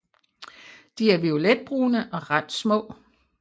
De er violetbrune og ret små